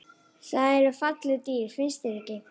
Þetta eru falleg dýr, finnst þér ekki?